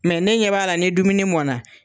Mɛ ne ɲɛ b'a la ni dumuni mɔn na